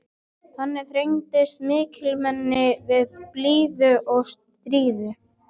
Þannig bregðast mikilmennin við blíðu og stríðu.